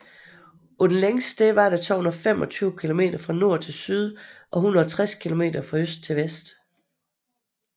På det længste sted var der 225 kilometer fra nord til syd og 160 kilometer fra øst til vest